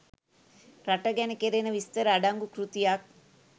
රට ගැන කෙරෙන විස්තර අඩංගු කෘතියක්